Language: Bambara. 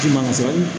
Ji man sɔrɔ